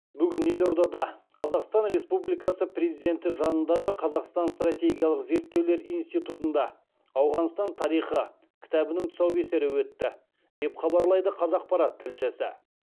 бүгін елордада қазақстан республикасы президенті жанындағы қазақстан стратегиялық зерттеулер институтында ауғанстан тарихы кітабының тұсаукесері өтті деп хабарлайды қазақпарат тілшісі